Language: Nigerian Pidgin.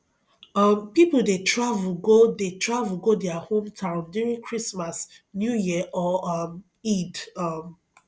um pipo de travel go de travel go their home town during christmas new year or um eid um